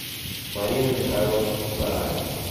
марина михайловна куптараева